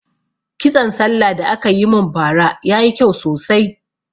Kitson sallah da aka mun ba ra yayi kyau sosai